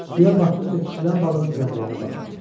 Suya batdıqca kiçilən balığın cəmdəyinə baxmadı.